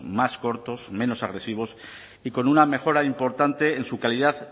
más cortos menos agresivos y con una mejora importante en su calidad